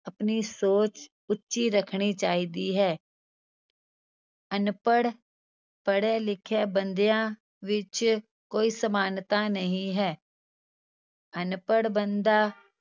ਆਪਣੀ ਸੋਚ ਉੱਚੀ ਰੱਖਣੀ ਚਾਹੀਦੀ ਹੈ ਅਨਪੜ੍ਹ ਪੜ੍ਹੇ ਲਿਖੇ ਬੰਦਿਆਂ ਵਿੱਚ ਕੋਈ ਸਮਾਨਤਾ ਨਹੀਂ ਹੈ ਅਨਪੜ੍ਹ ਬੰਦਾ